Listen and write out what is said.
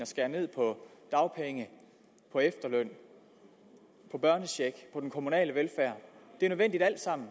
skære ned på dagpenge på efterløn på børnecheck på kommunal velfærd at det alt sammen